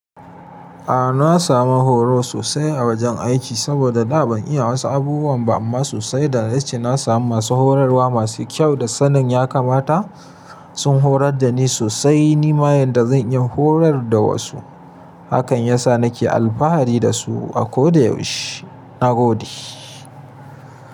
A'a na samu horo sosai a wajen aiki saboda da ban iya wasu abubuwan ba amma sosai da yace na samu masu horarwa masu kyau da sanin ya kamata l. Sun horar da ni sosai. Ni ma yadda zan iya horar da wasu hakan ya sa nake alfahari da su a koda yaushe. Na gode.